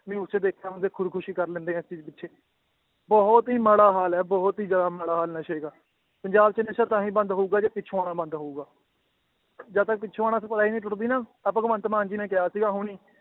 News 'ਚ ਦੇਖਿਆ ਬੰਦੇ ਖ਼ੁਦਕੁਸ਼ੀ ਕਰ ਲੈਂਦੇ ਹੈ ਇਸ ਚੀਜ਼ ਪਿੱਛੇ, ਬਹੁਤ ਹੀ ਮਾੜਾ ਹਾਲ ਹੈ ਬਹੁਤ ਹੀ ਜ਼ਿਆਦਾ ਮਾੜਾ ਹਾਲ ਨਸ਼ੇ ਦਾ ਪੰਜਾਬ 'ਚ ਨਸ਼ਾ ਤਾਂ ਹੀ ਬੰਦ ਹੋਊਗਾ, ਜੇ ਪਿੱਛੋਂ ਆਉਣਾ ਬੰਦ ਹੋਊਗਾ ਜਦ ਤੱਕ ਪਿੱਛੋਂ ਆਉਣਾ supply ਨੀ ਟੁੱਟਦੀ ਨਾ, ਆਹ ਭਗਵੰਤ ਮਾਨ ਜੀ ਨੇ ਕਿਹਾ ਸੀਗਾ ਹੁਣੇ ਹੀ